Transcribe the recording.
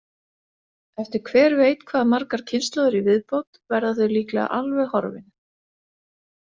Eftir hver veit hvað margar kynslóðir í viðbót verða þau líklega alveg horfin.